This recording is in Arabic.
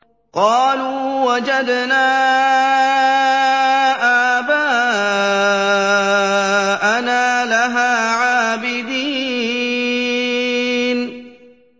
قَالُوا وَجَدْنَا آبَاءَنَا لَهَا عَابِدِينَ